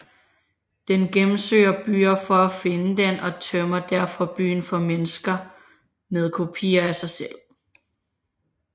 Den gennemsøger byen for at finde den og tømmer derfor byen for mennesker med kopier af sig selv